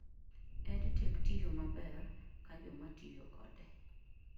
EdTech tiyo maber ka jomatiyokode